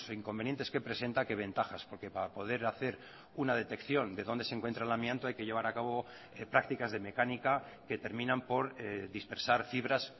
inconvenientes que presenta que ventajas porque para poder hacer una detección de dónde se encuentra el amianto hay que llevar a cabo prácticas de mecánica que terminan por dispersar fibras